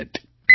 phone call